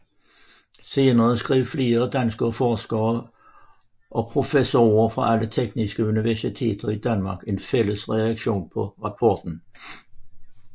Senere skrev flere danske forskere og professorer fra alle de tekniske universiteter i Danmark en fælles reaktion på rapporten